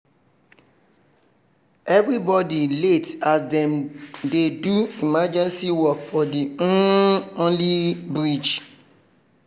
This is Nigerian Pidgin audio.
everybody late as dem dey do emergency work for the um only bridge